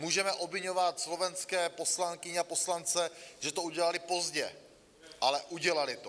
Můžeme obviňovat slovenské poslankyně a poslance, že to udělali pozdě, ale udělali to.